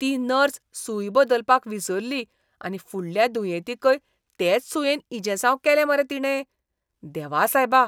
ती नर्स सूय बदलपाक विसरली आनी फुडल्या दुयेंतीकय तेच सुयेन इंजेसांव केलें मरे तिणें. देवा सायबा!